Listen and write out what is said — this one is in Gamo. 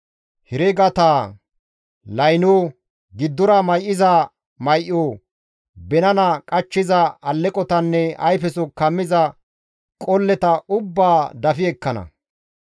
Heregata, laynota, giddora may7iza may7ota, binana qachchiza alleqotanne ayfeso kammiza qolleta ubbaa dafi ekkana.